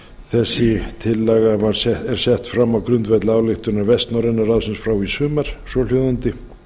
þessi tillaga var sett fram á grundvelli ályktunar vestnorræna ráðsins frá í sumar svohljóðandi